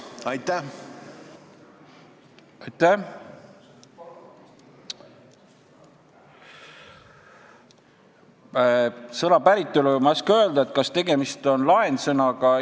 Ma ei tea selle sõna päritolu ega oska öelda, kas tegemist on laensõnaga.